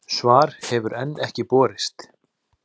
Svar hefur enn ekki borist.